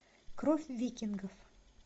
кровь викингов